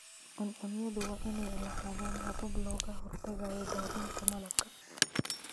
Cuncunyadu waa inay lahaadaan habab looga hortagayo daadinta malabka.